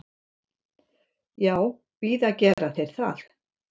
Já, víða gera þeir það.